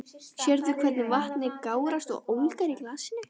Sérðu hvernig vatnið gárast og ólgar í glasinu?